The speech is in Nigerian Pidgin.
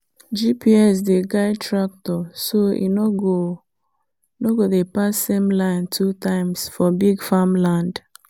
gps dey guide tractor so e no go no go dey pass same line two times for big farmland.